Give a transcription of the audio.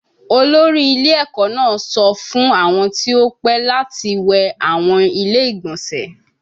Olori ile eko naa sọ fun awọn ti o pẹ lati wẹ awọn ile-igbọnsẹ